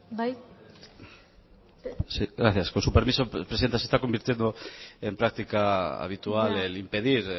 bai gracias con su permiso presidenta se está convirtiendo en práctica habitual el impedir